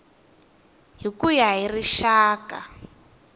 hi ku ya hi rixaka